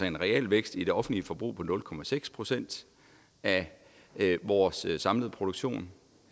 en realvækst i det offentlige forbrug på nul procent af vores samlede produktion